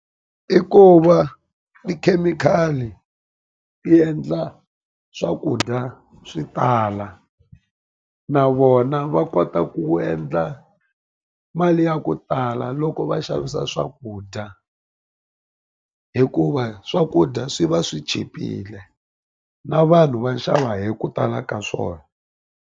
I ku va tikhemikhali ti endla swakudya swi tala na vona va kota ku endla mali ya ku tala loko va xavisa swakudya hikuva swakudya swi va swi chipile na vanhu va xava hi ku tala ka swona.